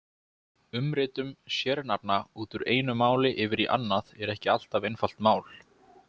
Umritun sérnafna úr einu máli yfir á annað er ekki alltaf einfalt mál.